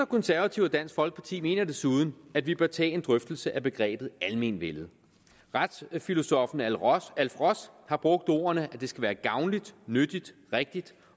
konservative og dansk folkeparti mener desuden at vi bør tage en drøftelse af begrebet almenvellet retsfilosoffen alf ross har brugt ordene at det skal være gavnligt nyttigt rigtigt